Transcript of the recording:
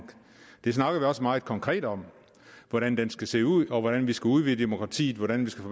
vi snakker også meget konkret om hvordan den skal se ud og hvordan vi skal udvide demokratiet hvordan vi skal